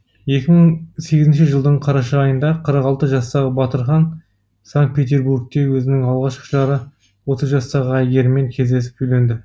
екі мың сегізінші жылдың қараша айында қырық алты жастағы батырхан санкт петербургте өзінің алғашқы жары отыз жастағы әйгеріммен кездесіп үйленді